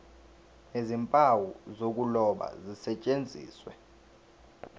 nezimpawu zokuloba zisetshenziswe